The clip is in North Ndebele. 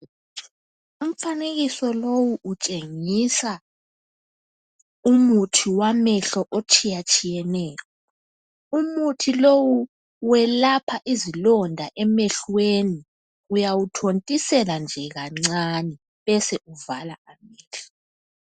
Umfanekiso lowo utshengisa umuthi wamehlo etshiyatshiyeneyo. Umuthi lowo welapha izilonda emehlweni. Uyawuthontisela nje kancane besewuvala amehlo.